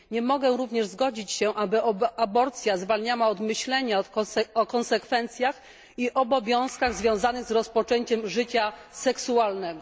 Nie mogę również zgodzić się, aby aborcja zwalniała od myślenia o konsekwencjach i obowiązkach związanych z rozpoczęciem życia seksualnego.